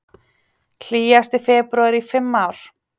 Hlýjasti febrúar í fimm ár